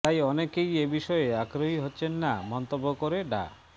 তাই অনেকেই এ বিষয়ে আগ্রহী হচ্ছেন না মন্তব্য করে ডা